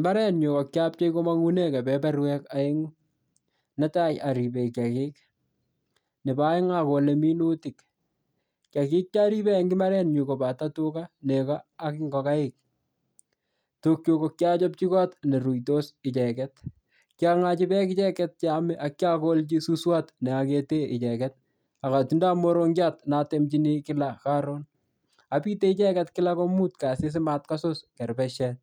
Mbarenyu ko kiapchei komong'ume kepeperwek oeng'u netai aribe kiyakik nebo oeng' akole minutik kiyakik charibe eng' imbarenyu kobato tuka neko ak ngokaik tugchu kokiachopchi kot neruitos icheget kiang'ochi beek icheget cheomei ako kiakolji suswot neakete icheget akotindoi morongiot natemchini kila apite icheket kila komut kasi simatkosus keribesiet